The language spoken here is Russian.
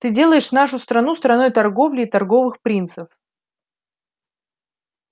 ты делаешь нашу страну страной торговли и торговых принцев